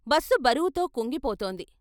Bus బరువుతో కుంగిపోతోంది.